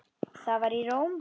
Það var í Róm.